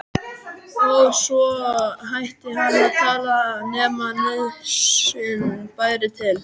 Og svo hætti hann að tala nema nauðsyn bæri til.